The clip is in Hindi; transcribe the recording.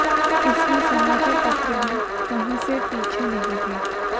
इसमें समाचार पत्र भी कहीं से पीछे नहीं थे